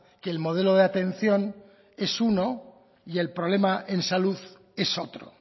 que el modelo de atención es uno y el problema en salud es otro